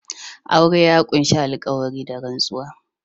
Aure ya ƙunshi alƙawari/ rantsuwa